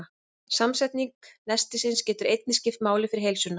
Samsetning nestisins getur einnig skipt máli fyrir heilsuna.